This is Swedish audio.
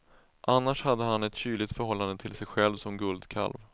Annars har han ett kyligt förhållande till sig själv som guldkalv.